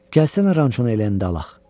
Gəlsənə, rançonu eləyəndə alaq.